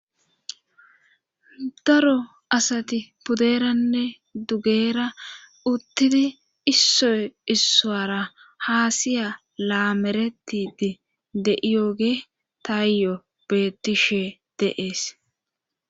Daro asati puderanne dugeera uttidi issoy issowara haasiya laameretidi de'iyoge taayyo bettishe deees.